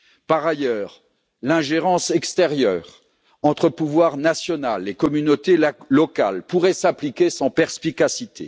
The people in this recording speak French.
Par ailleurs, l'ingérence extérieure entre pouvoir national et communautés locales pourrait s'appliquer sans perspicacité.